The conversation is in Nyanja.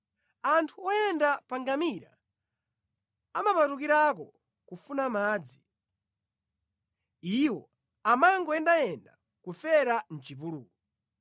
Anthu oyenda pa ngamira amapatukirako kufuna madzi; iwo amangoyendayenda nʼkufera mʼchipululu.